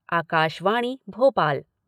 Akashvani Bhopal